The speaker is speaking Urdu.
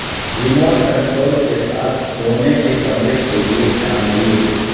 ریموٹ کنٹرول کے ساتھ سونے کے کمرے کے لئے چاندلیر